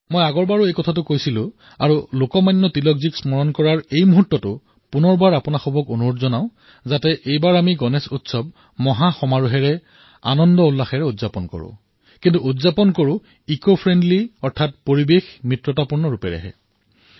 মই যোৱাবাৰ আগ্ৰহ কৰিছিলোঁ আৰু লোকমান্য তিলকক স্মৰণ কৰাৰ মুহূৰ্তত পুনৰবাৰ আপোনালোকক আহ্বান কৰিম যে এইবাৰো আপোনালোকে গণেশ উৎসৱ উদযাপন কৰক ধুমধামেৰে পালন কৰক কিন্তু পৰিৱেশ অনুকূল গণেশ উৎসৱ পালন কৰাৰ বাবে গুৰুত্ব দিয়ক